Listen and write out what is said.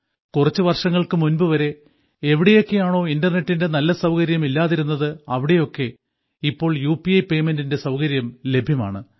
കുറച്ചു വർഷങ്ങൾക്കു മുൻപു വരെ എവിടെയൊക്കെയാണോ ഇന്റർനെറ്റിന്റെ നല്ല സൌകര്യം ഇല്ലാതിരുന്നത് അവിടെയൊക്കെ ഇപ്പോൾ യു പി ഐ പേയ്മെന്റിന്റെ സൌകര്യം ലഭ്യമാണ്